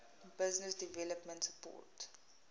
business development support